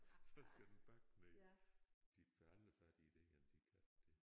Så skal den bakke nede de får aldrig fat i et egern de katte der